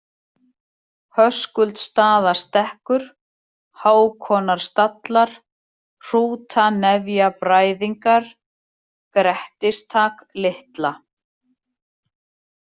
Höskuldsstaðastekkur, Hákonarstallar, Hrútanefjabræðingar, Grettistak-Litla